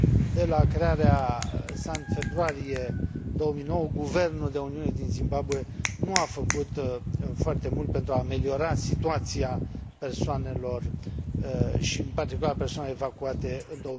De la crearea sa în februarie 2009, guvernul de uniune din Zimbabwe nu a făcut foarte mult pentru a ameliora situația persoanelor și, în particular, a persoanelor evacuate în